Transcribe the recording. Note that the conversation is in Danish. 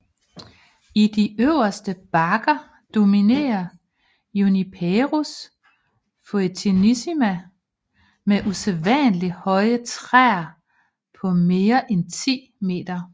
I de øverste bakker dominerer Juniperus foetidissima med usædvanlig høje træer på mere end 10 meter